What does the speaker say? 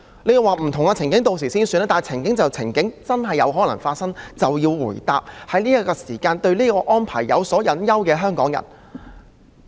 你會說屆時再算，但情況既然真的有可能發生，政府便要回答在此時對這項安排有所隱憂的香港人。